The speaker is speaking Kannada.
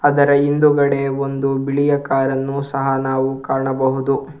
ಅದರ ಹಿಂದುಗಡೆ ಒಂದು ಬಿಳಿಯ ಕಾರ ನ್ನು ಸಹ ನಾವು ಕಾಣಬಹುದು.